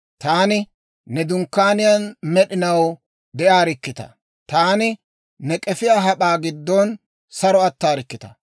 Taani ne dunkkaaniyaan med'inaw de'arikkitaa! taani ne k'efiyaa hap'aa giddon saro attarikkitaa!